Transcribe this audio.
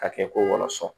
Ka kɛ ko wɔlɔsɔ